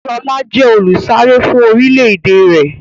Sọlá jẹ olùsáré fún orílédé rẹ̀.